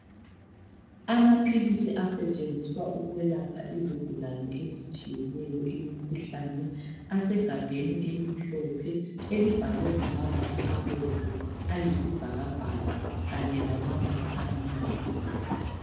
Amaphilisi asetshenziswa ukwelapha izigulane ezitshiyeneyo imikhuhlane asegabheni elimhlophe elibhalwe ngamabala abomvu, ayisibhakabhaka kanye lamabala amnyama.